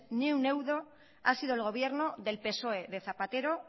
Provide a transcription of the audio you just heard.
ni un euro ha sido el gobierno del psoe de zapatero